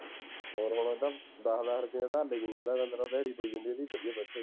ਹੋਰ ਹੁਣ ਦਸ ਦਸ ਰੁਪਇਆਂ ਧਾਨੇ ਗਿਰੀ ਜਾਂਦਾ ਹੈ ਪੰਦਰਾਂ ਦੀ ਦਿਹਾੜੀ ਪਈ ਜਾਂਦੀ ਹੈ, ਵਧੀਆ ਬੱਚਤ